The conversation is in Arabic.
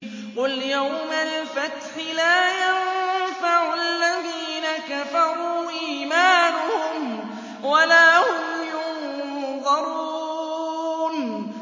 قُلْ يَوْمَ الْفَتْحِ لَا يَنفَعُ الَّذِينَ كَفَرُوا إِيمَانُهُمْ وَلَا هُمْ يُنظَرُونَ